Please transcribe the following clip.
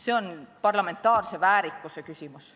See on parlamentaarse väärikuse küsimus.